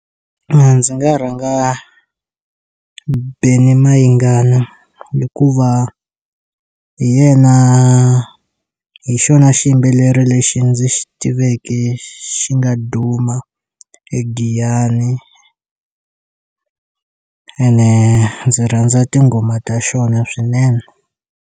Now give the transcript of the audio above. A ndzi nga rhanga Benny Mayengani hikuva hi yena hi xona xiyimbeleri lexi ndzi xi tivekeke xi nga duma eGiyani ene ndzi rhandza tinghoma ta xona swinene.